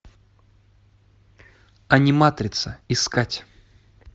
аниматрица искать